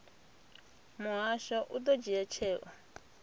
muhasho u ḓo dzhia tsheo